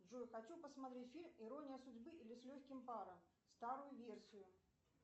джой хочу посмотреть фильм ирония судьбы или с легким паром старую версию